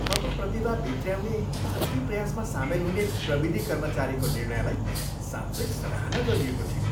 थप प्रतिभा भित्र्याउने भर्ती प्रयासमा सामेल हुने प्रविधि कर्मचारीको निर्णयलाई साँच्चै सराहना गरिएको थियो।